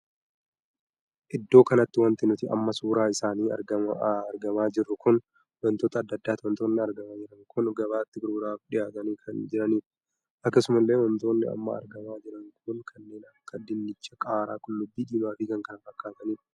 Iddoo kanatti wanti nuti amma suuraa isaanii argamaa jiru kun wantoota addaa addaati. Wantoonni argamaa jiran kun gabaatti gurguraaf dhihaatanii kan jiranidha. akkasuma illee wantoonni amma argamaa jiran kun kanneen akka dinnicha, qaaraa, qullubbii diimaa fi kan kana fakkaatanidha.